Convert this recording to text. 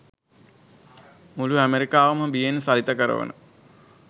මුළු ඇමරිකාවම බියෙන් සලිත කරවන